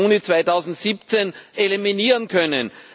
14. Juni 2017 eliminieren können.